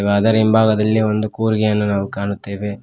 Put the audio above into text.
ಅದರಿಂದ ಹಿಂಭಾಗದಲ್ಲಿ ಒಂದು ಕೂರ್ಗೆಯನ್ನು ನಾವು ಕಾಣುತ್ತೇವೆ.